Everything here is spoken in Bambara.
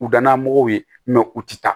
U dan na mɔgɔw ye u ti taa